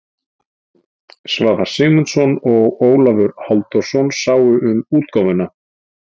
Svavar Sigmundsson og Ólafur Halldórsson sáu um útgáfuna.